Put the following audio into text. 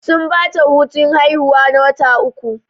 Sun bata hutun haihuwa na watan uku